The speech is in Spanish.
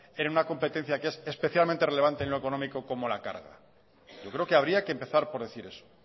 en una competencia que es especialmente relevante en lo económico como la carga yo creo que habría que empezar por decir eso